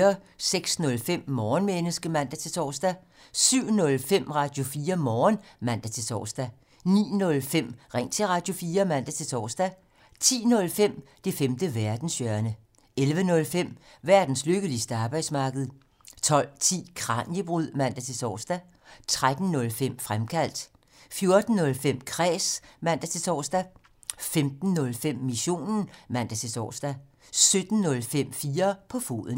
06:05: Morgenmenneske (man-tor) 07:05: Radio4 Morgen (man-tor) 09:05: Ring til Radio4 (man-tor) 10:05: Det femte verdenshjørne 11:05: Verdens lykkeligste arbejdsmarked 12:10: Kraniebrud (man-tor) 13:05: Fremkaldt 14:05: Kræs (man-tor) 15:05: Missionen (man-tor) 17:05: 4 på foden